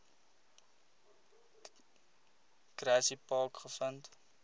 grassy park gevind